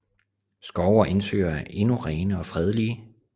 Skove og indsøer er endnu rene og fredelige